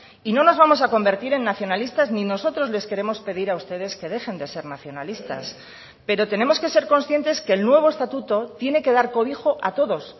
y no nos vamos a convertir en nacionalistas ni nosotros les queremos pedir a ustedes que dejen de ser nacionalistas pero tenemos que ser conscientes que el nuevo estatuto tiene que dar cobijo a todos